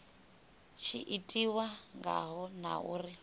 tshi itiwa ngaho na uri